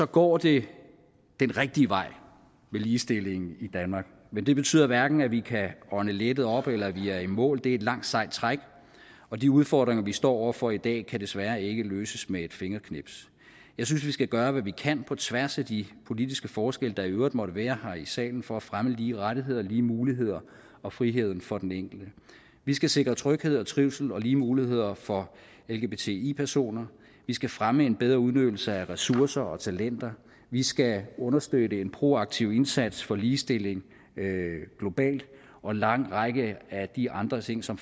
går det den rigtige vej med ligestillingen i danmark men det betyder hverken at vi kan ånde lettet op eller at vi er i mål det er et langt sejt træk og de udfordringer vi står over for i dag kan desværre ikke løses med et fingerknips jeg synes vi skal gøre hvad vi kan på tværs af de politiske forskelle der i øvrigt måtte være her i salen for at fremme lige rettigheder og lige muligheder og friheden for den enkelte vi skal sikre tryghed og trivsel og lige muligheder for lgbti personer vi skal fremme en bedre udnyttelse af ressourcer og talenter vi skal understøtte en proaktiv indsats for ligestilling globalt og en lang række af de andre ting som